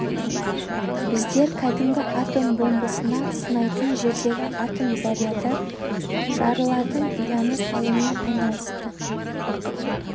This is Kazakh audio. біздер кәдімгі атом бомбасын сынайтын жердегі атом заряды жарылатын ұяны салумен айналыстық